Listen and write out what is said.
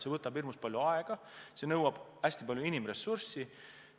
See võtab hirmus palju aega ja nõuab hästi palju inimressurssi.